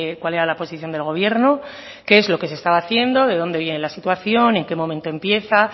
cuál era la posición del gobierno que es lo que se está haciendo de dónde viene la situación en qué momento empieza